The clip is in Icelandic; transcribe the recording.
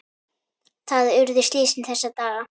Þar urðu slysin þessa daga.